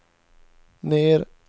ner